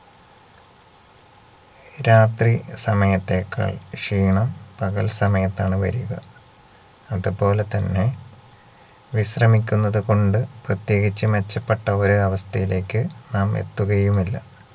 രാത്രി സമയത്തേക്കാൾ ക്ഷീണം പകൽ സമയത്താണ് വരിക അതുപോലെ തന്നെ വിശ്രമിക്കുന്നതുകൊണ്ട് പ്രത്യേകിച്ച് മെച്ചപ്പെട്ട ഒരു അവസ്ഥയിലേക്ക് നാം എത്തുകയുമില്ല